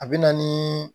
A bɛ na ni